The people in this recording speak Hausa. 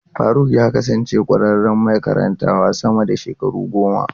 Faruk ya kasance ƙwararren mai karantawa sama da shekaru goma.